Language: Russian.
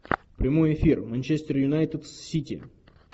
прямой эфир манчестер юнайтед с сити